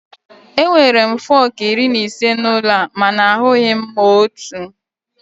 Enwere m fọkụ iri na ise n'ụlọ a mana ahụghị m otu.